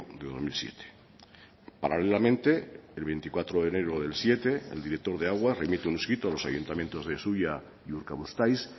del dos mil siete paralelamente el veinticuatro de enero del dos mil siete el directo de aguas remite un escrito a los ayuntamientos de zuia y urkabustaiz